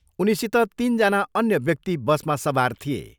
उनीसित तिनजना अन्य व्यक्ति बसमा सवार थिए।